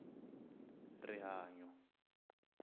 rihanyo